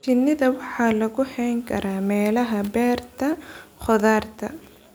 Shinida waxaa lagu hayn karaa meelaha beerta khudaarta.